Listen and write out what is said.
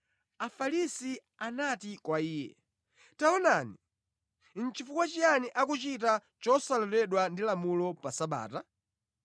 Afarisi anati kwa Iye, “Taonani, chifukwa chiyani akuchita chosaloledwa ndi lamulo pa Sabata?”